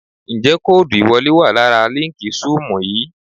Ǹjẹ́ kóòdù ìwọlé wà lára líǹkì Zúùmù yìí?